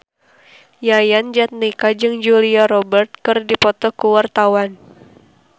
Yayan Jatnika jeung Julia Robert keur dipoto ku wartawan